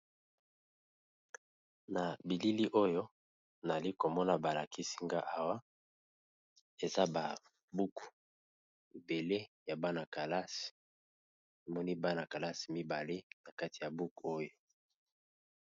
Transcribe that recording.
Na bilili oyo nali komona balakisi nga awa eza ba buku ebele ya bana kalasi omoni bana kalasi mibale na kati ya buku oyo.